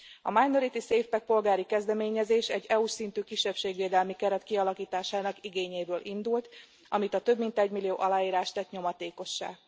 A Minority SafePack polgári kezdeményezés egy EU s szintű kisebbségvédelmi keret kialakításának igényéből indult, amit a több mint egymillió aláírás tett nyomatékossá.